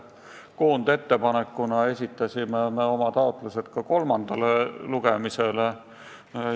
Koondettepanekuna esitasime oma taotlused kolmandale lugemisele.